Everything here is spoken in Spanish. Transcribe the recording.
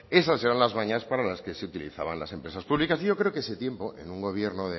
esas serán las mañas para las que se utilizaban las empresas públicas y yo creo que ese tiempo en un gobierno